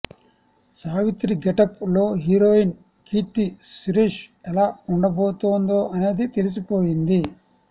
Savitri getup లో heroine Keerthy Suresh ఎలా వుండబోతోందో అనేది తెలిసిపోయింది